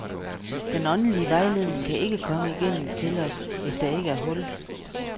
Den åndelige vejledning kan ikke komme igennem til os, hvis ikke der er hul.